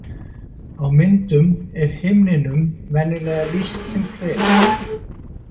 Á myndum er himninum venjulega lýst sem hveli.